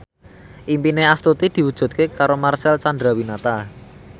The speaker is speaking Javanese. impine Astuti diwujudke karo Marcel Chandrawinata